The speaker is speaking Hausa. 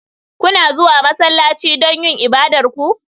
Kuna zuwa masallaci don yin ibadar ku?